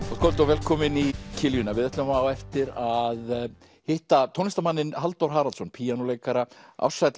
kvöld og velkomin í kiljuna við ætlum á eftir að hitta tónlistarmanninn Halldór Haraldsson píanóleikara